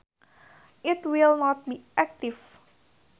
It will not be active.